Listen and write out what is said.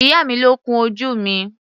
Ìyá mi ló kun ojú mi.